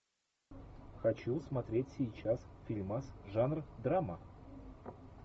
хочу смотреть сейчас фильмас жанр драма